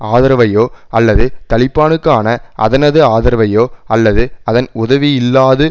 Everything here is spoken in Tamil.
ஆதரவையோ அல்லது தலிபானுக்கான அதனது ஆதரவையோ அல்லது அதன் உதவியில்லாது